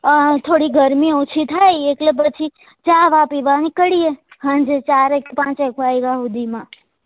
અ થોડી ગરમી ઓછી થાય એટલે પછી ચા વા પીવા નીકળીએ હાંજે ચાર એક પાંચ એક વાગ્યા હુધી માં